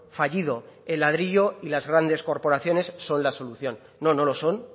fallido el ladrillo y las grandes corporaciones son la solución no no lo son